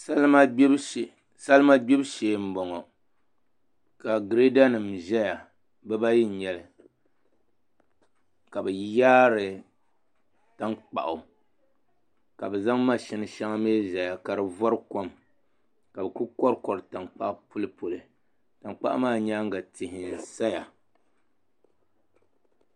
salima gbibu shee m-bɔŋɔ ka gireedanima zaya bibaayi n-nyɛ li ka bɛ yaari tankpaɣu ka bɛ zaŋ mashini shɛŋa mi zaya ka di vari kom ka bɛ kuli kɔrikɔri tankpaɣu m-pulipuli tankpaɣu maa nyaaŋa tihi n-zaya